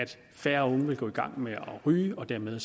færre unge vil gå i gang med at ryge og dermed